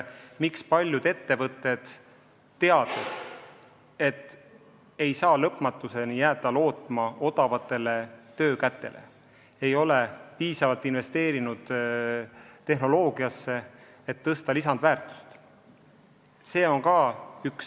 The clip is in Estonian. Miks ikkagi paljud ettevõtted, teades, et nad ei saa lõpmatuseni jääda lootma odavatele töökätele, ei ole piisavalt investeerinud tehnoloogiasse, et lisandväärtust suurendada?